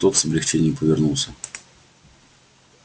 тот с облегчением повернулся